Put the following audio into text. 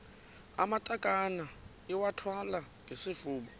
amatakane iwathwale ngesifuba